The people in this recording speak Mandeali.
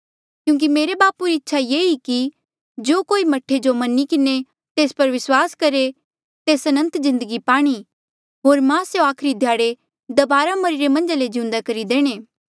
क्यूंकि मेरे बापू री इच्छा ये ई कि जो कोई मह्ठे जो मनी किन्हें तेस पर विस्वास करहे तेस अनंत जिन्दगी पाणी होर मां स्यों आखरी ध्याड़े दबारा मरिरे मन्झा ले जिउंदे करी देणे